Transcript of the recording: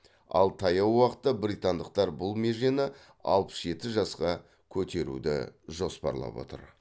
ал таяу уақытта британдықтар бұл межені алпыс жеті жасқа көтеруді жоспарлап отыр